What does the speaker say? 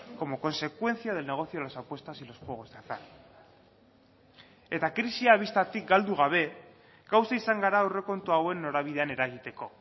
como consecuencia del negocio de las apuestas y los juegos de azar eta krisia bistatik galdu gabe gauza izan gara aurrekontu hauen norabidean eragiteko